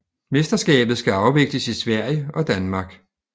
Mesterskabet skal afvikles i Sverige og Danmark